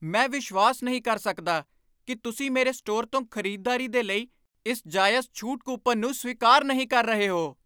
ਮੈਂ ਵਿਸ਼ਵਾਸ ਨਹੀਂ ਕਰ ਸਕਦਾ ਕਿ ਤੁਸੀਂ ਮੇਰੇ ਸਟੋਰ ਤੋਂ ਖ਼ਰੀਦਦਾਰੀ ਦੇ ਲਈ ਇਸ ਜਾਇਜ਼ ਛੂਟ ਕੂਪਨ ਨੂੰ ਸਵੀਕਾਰ ਨਹੀਂ ਕਰ ਰਹੇ ਹੋ।